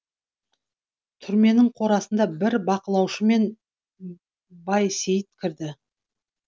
түрменің қорасына бір бақылаушымен байсейіт кірді